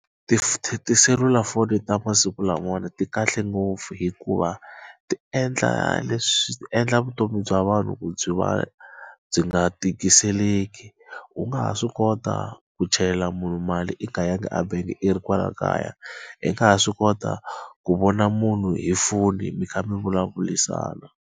Tiselulafoni ta masiku lamawani ti kahle ngopfu hikuva ti endla endla vutomi bya vanhu ku byi va byi nga tikiseleki. U nga ha swi kota ku chelela munhu mali i nga ya ngi ebangi i ri kwala kaya, I nga ha swi kota ku vona munhu hi foni mi kha mi vulavurisana.